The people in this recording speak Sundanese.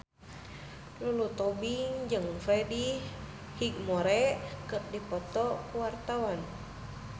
Lulu Tobing jeung Freddie Highmore keur dipoto ku wartawan